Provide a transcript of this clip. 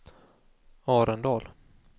Arendal